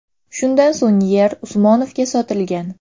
Shundan so‘ng yer Usmonovga sotilgan.